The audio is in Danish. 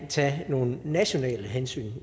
tage nogle nationale hensyn